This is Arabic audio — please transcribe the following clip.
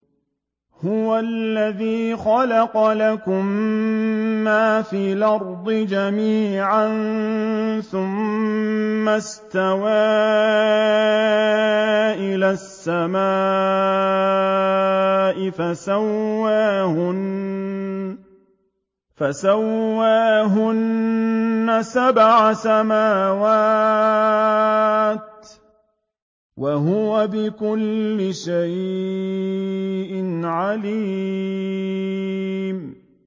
هُوَ الَّذِي خَلَقَ لَكُم مَّا فِي الْأَرْضِ جَمِيعًا ثُمَّ اسْتَوَىٰ إِلَى السَّمَاءِ فَسَوَّاهُنَّ سَبْعَ سَمَاوَاتٍ ۚ وَهُوَ بِكُلِّ شَيْءٍ عَلِيمٌ